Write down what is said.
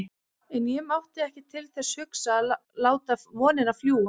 En ég mátti ekki til þess hugsa að láta vonina fljúga.